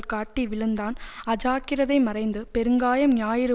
காட்டி விழுந்தான் அஜாக்கிரதை மறைந்து பெருங்காயம் ஞாயிறு